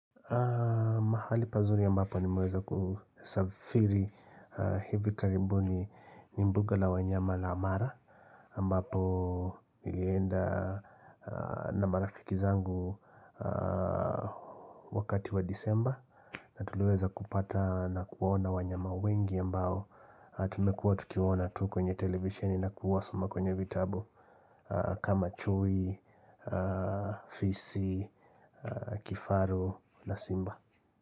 Mahali pazuri ambapo nimweza kusafiri hivi karibu ni mbuga la wanyama la mara mbapo nilienda na marafiki zangu wakati wa disemba na tuliweza kupata na kuwaona wanyama wengi ambao Tumekuwa tukiwaoa tu kwenye televisioni na kuwasoma kwenye vitabu kama chui, fisi, kifaru, na simba.